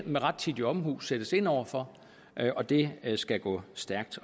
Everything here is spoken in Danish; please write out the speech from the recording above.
med rettidig omhu skal sættes ind over for og det skal gå stærkt